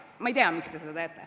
Ma ei tea, miks te seda teete.